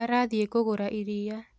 Arathiĩ kũgũra iria